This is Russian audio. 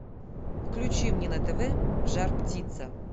включи мне на тв жар птица